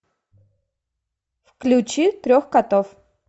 включи трех котов